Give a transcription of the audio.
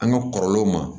An ka kɔrɔlenw ma